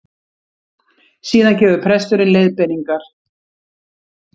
Síðan gefur presturinn leiðbeiningar